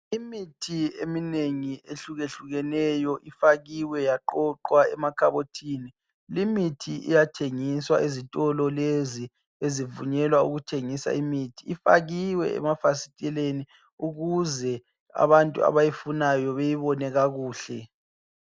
Imithi eminengi ehlukehlukeneyo ifakiwe yaqoqwa, emakhabothini. Limithi iyathengiswa ezitolo lezi ezivunyelwa ukuthengisa imithi. Ifakiwe emafasiteleni, ukuze abantu abayifunayo, beyibone kakuhle.